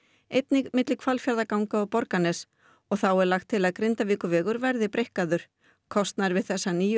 einnig milli Hvalfjarðarganga og Borgarness og þá er lagt til að Grindavíkurvegur verði breikkaður kostnaðurinn við þessar níu